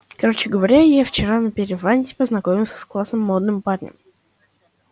короче говоря я вчера на преферансе познакомился с классным молодым парнем